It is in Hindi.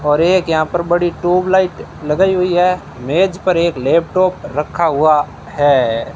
और एक यहां पर बड़ी ट्यूबलाइट लगाई हुई है। मेज पर लेपटॉप रखा हुआ है।